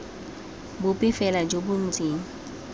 bope fela jo bo ntseng